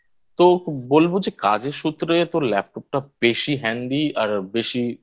তো বোন বলছি যে কাজের সূত্রে তোর Laptop টা বেশি Handy আর বেশি